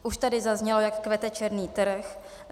Už tady zaznělo, jak kvete černý trh.